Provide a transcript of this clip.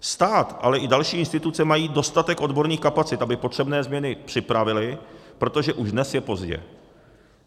Stát, ale i další instituce mají dostatek odborných kapacit, aby potřebné změny připravily, protože už dnes je pozdě.